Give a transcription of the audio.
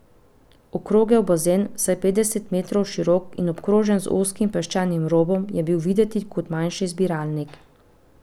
Okrogel bazen, vsaj petdeset metrov širok in obkrožen z ozkim peščenim robom, je bil videti kot manjši zbiralnik.